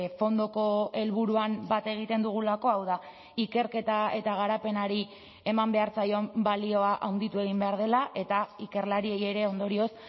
fondoko helburuan bat egiten dugulako hau da ikerketa eta garapenari eman behar zaion balioa handitu egin behar dela eta ikerlariei ere ondorioz